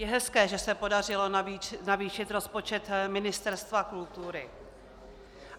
Je hezké, že se podařilo navýšit rozpočet Ministerstva kultury.